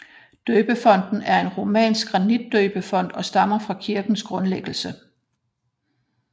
Døbefonten er en romansk granitdøbefont og stammer fra kirkens grundlæggelse